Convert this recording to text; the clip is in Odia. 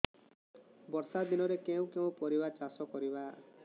ବର୍ଷା ଦିନରେ କେଉଁ କେଉଁ ପରିବା ଚାଷ କରିବା